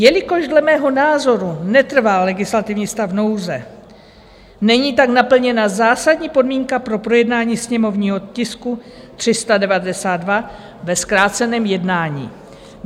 Jelikož dle mého názoru netrvá legislativní stav nouze, není tak naplněna zásadní podmínka pro projednání sněmovního tisku 392 ve zkráceném jednání.